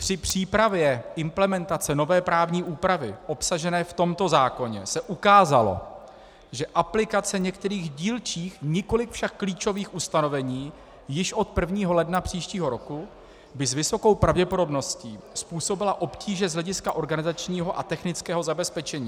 Při přípravě implementace nové právní úpravy obsažené v tomto zákoně se ukázalo, že aplikace některých dílčích, nikoliv však klíčových ustanovení již od 1. ledna příštího roku by s vysokou pravděpodobností způsobila obtíže z hlediska organizačního a technického zabezpečení.